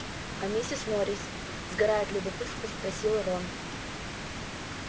а миссис норрис сгорая от любопытства спросил рон